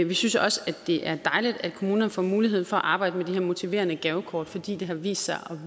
vi synes også at det er dejligt at kommunerne får mulighed for at arbejde med de her motiverende gavekort fordi de har vist sig at